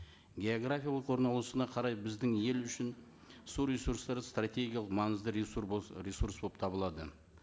географиялық орналасуына қарай біздің ел үшін су ресурстары стратегиялық маңызды ресурс болып табылады